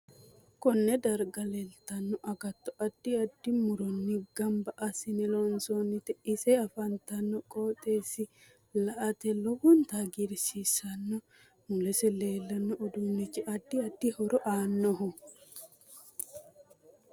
Konne darga leeltano agatto addi addi muronni ganbba asine loonsoonite ise afantanno qooxeesi la'ate lowonta hagiirsiisanno mulese leelanno uduunichi addi addi horo aanoho